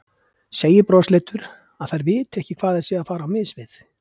Segir brosleitur að þær viti ekki hvað þær séu að fara á mis við.